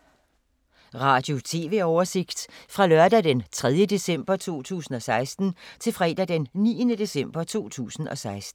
Radio/TV oversigt fra lørdag d. 3. december 2016 til fredag d. 9. december 2016